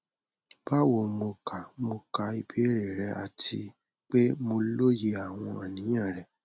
bawo mo ka mo ka ibeere rẹ ati pe mo loye awọn aniyan rẹ